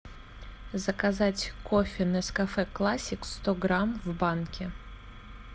заказать кофе нескафе классик сто грамм в банке